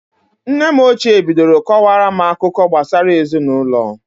Nne m ochie bidoro kọwara m akụkọ gbasara ezinụlọ.